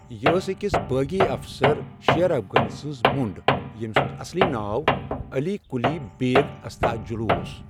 یہِ ٲس أکِس بٲغی افسَر، شیر افغن سٕنٛز مۄنٛڈ، ییٚمہِ سُنٛد اصلی ناو عٔلی قُلی بیگ استعجلو اوس۔